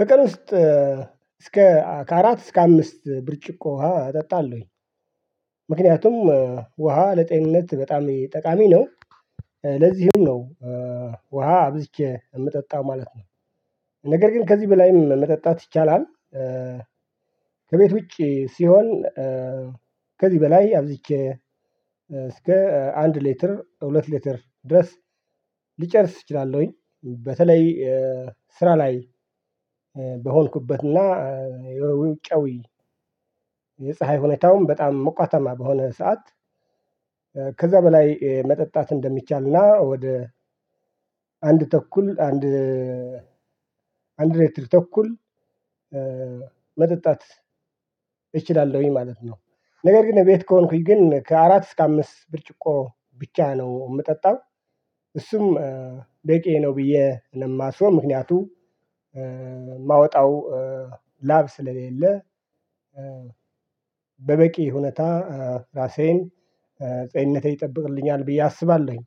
በቀን ውስጥ እስከ ከአራት እስከ አምስት ብርጭቆ ውሃ እጠጣለሁኝ። ምክንያቱም ውሃ ለጤንነት በጣም ጠቃሚ ነው። ለዚህም ነው ውሃ አብዝቼ የምጠጣው ማለት ነው። ነገር ግን ከዚህ በላይም መጠጣት ይቻላል። ከቤት ውጪ ሲሆን ከዚህ በላይ አብዝቼ እስከ አንድ ሌትር ሁለት ሌትር ድረስ ልጨርስ እችላለሁኝ። በተለይ ስራ ላይ በሆንኩበትና ውጫዊ የፀሀይ ሁኔታውም በጣም ሞቃታማ በሆነ ሰዓት ከዛ በላይ መጠጣት እንደሚቻልና ወደ አንድ ተኩል አንድ አንድ ሌትር ተኩል መጠጣት እችላለሁኝ ማለት ነው። ነገር ግን ቤት ከሆንኩኝ ግን ከአራት እስከ አምስት ብርጭቆ ብቻ ነው የምጠጣው። እሱም በቂዬ ነው ብዬ ነው የማስበው ምክንያቱም የማውጣው ላብ ስለሌለ። በበቂ ሁኔታ ራሴን ጤንነቴ ይጠብቅልኛል ብዬ አስባለሁኝ።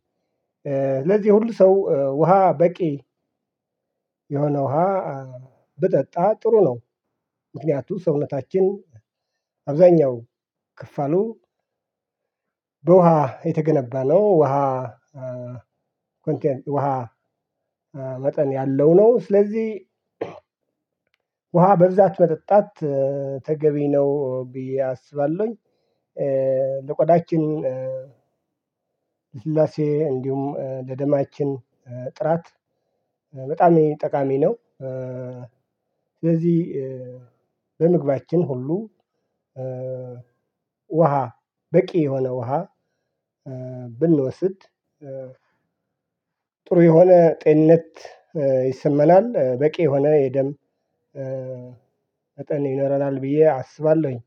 ለዚህ ሁሉ ሰው ውሃ በቂ የሆነ ውሃ ብጠጣ ጥሩ ነው። ምክንያቱም ሰውነታችን አብዛኛው ክፋሉ በውሃ የተገነባ ነው ውሃ ውሃ መጠን ያለው ነው። ስለዚህ ውሃ በብዛት መጠጣት ተገቢ ነው ብዬ አስባለሁኝ። ለቆዳችን ልስላሴ እንዲሁም ለደማችን ጥራት በጣም ጠቃሚ ነው። ለዚህ በምግባችን ሁሉ ውሃ በቂ የሆነ ውሃ ብንወስድ ጥሩ የሆነ ጤንነት ይሰማናል። በቂ የሆነ የደም መጠን ይኖረናል ብዬ አስባለሁኝ።